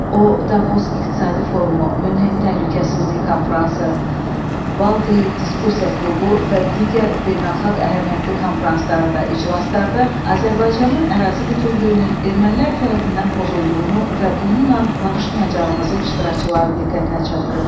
O Davos İqtisadi Forumu, Münhen Təhlükəsizlik Konfransı, Valdey Diskussiya Klubu və digər beynəlxalq əhəmiyyətli konfranslarda, iclaslarda Azərbaycanın ərazi bütövlüyünün ermənilər tərəfindən pozulduğunu və bununla barışmayacağımızı iştirakçıların diqqətinə çatdırıb.